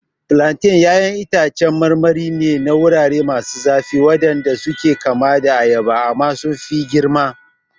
Plantains ƴaƴan itacen marmari ne na wurare masu zafi waɗanda suke kama da ayaba amma sun fi girma.